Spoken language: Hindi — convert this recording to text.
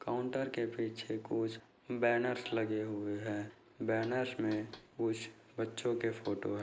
काउंटर के पीछे कुछ बैनर्स लगे हुए है बैनर्स में कुछ बच्चो के फोटोस है।